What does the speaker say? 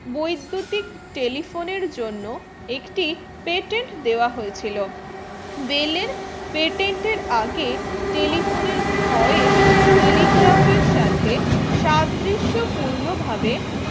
বৈদ্যতিক telephone এর জন্য একটি patent দেবা হয়েছিল বেলের patent এর আগে telephone এর voice telegraph এর সাথে সাদৃশ পূর্ণ ভাবে